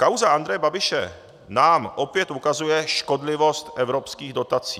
Kauza Andreje Babiše nám opět ukazuje škodlivost evropských dotací.